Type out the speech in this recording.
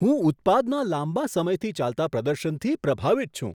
હું ઉત્પાદના લાંબા સમયથી ચાલતા પ્રદર્શનથી પ્રભાવિત છું.